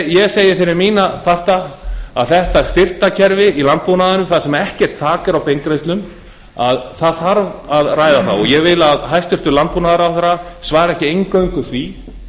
ég segi fyrir mína parta að þetta styrktarkerfi í landbúnaðinum þar sem ekkert þak er á beingreiðslum þarf að ræða það og ég vil að hæstvirtur landbúnaðarráðherra svari ekki eingöngu því